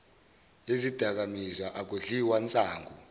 yezidakamizwa akudliwa nsangu